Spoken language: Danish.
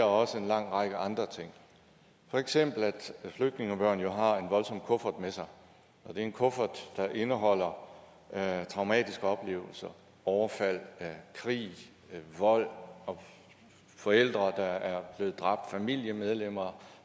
også en lang række andre ting for eksempel at flygtningebørn jo har en voldsom kuffert med sig og det er en kuffert der indeholder traumatiske oplevelser overfald krig vold og forældre der er blevet dræbt familiemedlemmer